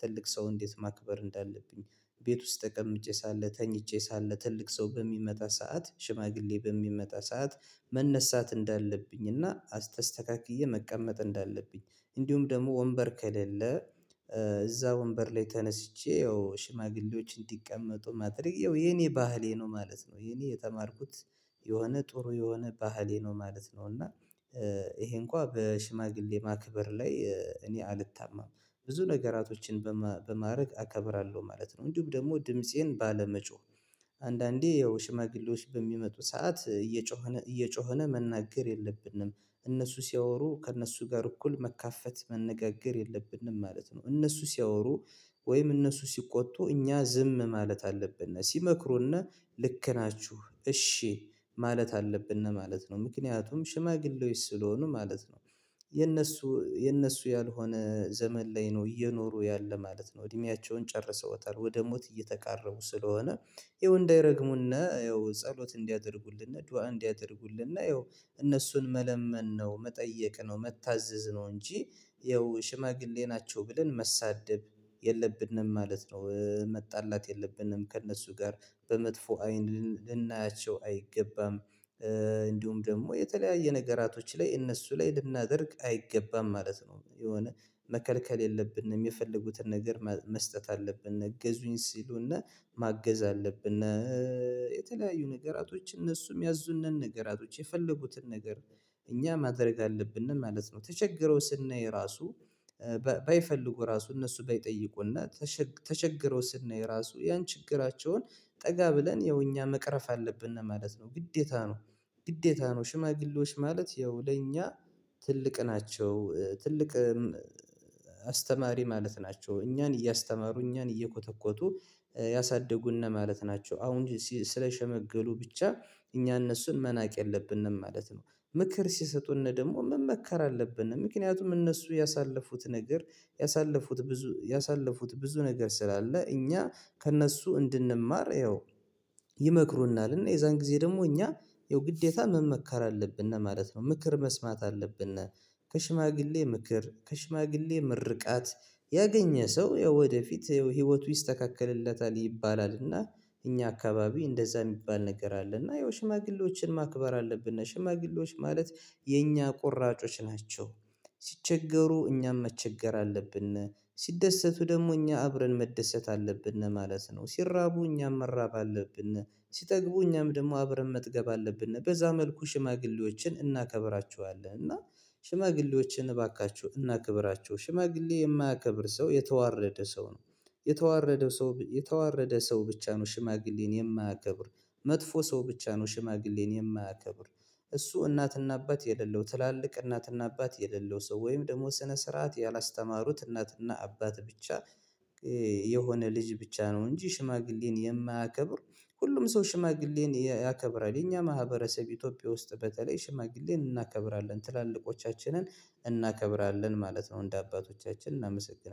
ትልቅ ሰው እንዴት ማክበር እንዳለብኝ፤ ቤት ውስጥ ተቀምጬ ሳለ፤ ተኝቼ ሳለ ትልቅ ሰው በሚመጣ ሰዓት፤ ሽማግሌ በሚመጣ ሰዓት መነሳት እንዳለብኝ እና አስተስተካክዬ መቀመጥ እንዳለብኝ፤ እንዲሁም ደግሞ ወንበር ከሌለ እዛ ወንበር ላይ ተነስቼ፤ ያው ሽማግሌዎች እንዲቀመጡ ማድረግ ያው የኔ ባህሌ ነው ማለት ነው። የኔ የተማርኩት የሆነ ጥሩ የሆነ ባህሌ ነው። ማለት ነው እና ይሄ እንኳን በሽማግሌ ማክበር ላይ እኔ አልታመም ብዙ ነገራቶችን በማድረግ አከብራለሁ ማለት ነው። እንዲሁም ደግሞ ድምፄን ባለመጮህ አንዳንዴ ያው ሽማግሌዎች በሚመጡ ሰዓት እየጮኸ እየጮኸ መናገር የለብንም። እነሱ ስያወሩ ከእነሱ ጋር እኩል መካፈት መነጋገር የለብንም፤ ማለት ነው እነሱ ሲያወሩ ወይም እነሱ ስቆጡ እኛ ዝም ማለት አለብን። ስመክሩና ልክ ናችሁ እስሽማለት አለብን ማለት ነው። ምክንያቱም ሽማግሌዎች ስለሆኑ ማለት ነው። የነሱ የነሱ ያልሆነ ዘመን ላይ ነው እየኖሩ ያለ ማለት ነው። እድምያቸውን ጨርሰው እጠር ወደ ሞት እየተቃረቡ ስለሆነ፤ ይኸው እንዳይረግሙና ያው ጸሎት እንዲያደርጉልን፤ ዱአ እንዲያደርጉልን፤ ያው እነሱን መለመን ነው፤ መጠየቅ ነው፤ መታዘዝ ነው፤ እንጂ ያው ሽማግሌ ናቸው ብለን መሳደብ የለብንም፤ ማለት ነው መጣላት የለብንም፤ ከእነሱ ጋር በመጥፎ አይን ልናያቸው አይገባም። እንዲሁም ደግሞ የተለያየ ነገራቶች ላይ እነሱ ላይ ልናደርግ አይገባም ማለት ነው የሆነ መከልከል የለብንም የፈለጉትን ነገር መስጠት አለብን፤ እገዙኝ ስሉና ማገዝ አለብን እና የተለያዩ ነገራቶች፤ እነሱም ያዙን ነን ነገራቶች የፈለጉትን ነገር እኛ ማድረግ አለብን ማለት ነው ተቸግረው ስናይ ራሱ ባይፈልጉ ራሱ እነሱ ባይጠይቁና ተቸግረው ስናይ ራሱ ያን ችግራቸውን ጠጋ ብለን ይኸው እኛ መቅረፍ አለብን ማለት ነው። ግዴታ ነው፤ ግዴታ ነው ሽማግሌዎች ማለት ያው ለእኛ ትልቅ ናቸው። ትልቅ አስተማሪ ማለት ናቸው። እኛን እያስተማሩ እኛን እየኮተኮቱ ያሳደጉና ማለት ናቸው። አሁን ስለሸመገሉ ብቻ እኛ እነሱን መናቅ የለብንም ማለት ነው፤ ምክር ስሰጡን ደግሞ መመከር አለብንም፤ ምክንያቱም እነሱ ያሳለፉት ነገር ያሳለፉት ብዙ ያሳለፉት ብዙ ነገር ስላለ እኛ ከእነሱ እንድንማር ይሄው ይመክሩናል እና የዛን ጊዜ ደግሞ እኛ ይሄው ግዴታ ምን መከራ አለብን ማለት ነው፤ ምክር መስማት አለብን ነው፤ ከሽማግሌ ምክር ከሽማግሌ ምርቃት ያገኘ ሰው ወደፊት ህይወቱ ይስተካከለለታል ይባላልና እኛ አካባቢ እንደዛ የሚባል ነገር አለና ይኸው ሽማግሌዎችን ማክበር አለብን ነሽ፤ ሽማግሌዎች ማለት የኛ ቆራጮች ናቸው። ስቸገሩ እኛም መቸገር አለብን፤ ሲደሰቱ ደግሞ እኛ አብረን መደሰት አለብን ማለት ነው፤ ስራቡ እኛም መራብ አለብን፤ ስጠግቡ እኛም ደግሞ አብረን መጥገብ አለብን፤ በዛ መልኩ ሽማግሌዎችን እናከብራችኋለን እና ሽማግሌዎችን እባካችሁ እናከብራችሁ ሽማግሌ የማያከብር ሰው የተዋረደ ሰው ነው። የተዋረደ ሰው የተዋረደ ሰው ብቻ ነው ሽማግሌን የማያገብር፤ መጥፎ ሰው ብቻ ነው፤ ሽማግሌን የማያከብር እሱ እናትና አባት የሌለው ትላልቅ እናትና አባት የሌለው ሰው ወይም ደግሞ ስነ ስርዓት ያላስተማሩት እናትና አባት ብቻ የሆነ ልጅ ብቻ ነው እንጂ ሽማግሌን የማያከብር ሁሉም ሰው ሽማግሌን ያከብራል፤ የኛ ማህበረሰብ ኢትዮጵያ ውስጥ በተለይ ሽማግሌን እናከብራለን፤ ትላልቆቻችንን እናከብራለን፤ ማለት ነው እንደ አባቶቻችን እናመሰናልን።